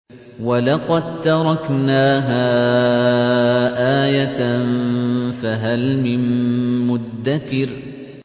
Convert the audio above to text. وَلَقَد تَّرَكْنَاهَا آيَةً فَهَلْ مِن مُّدَّكِرٍ